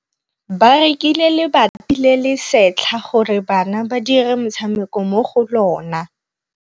Ba rekile lebati le le setlha gore bana ba dire motshameko mo go lona.